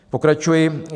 Pokračuji.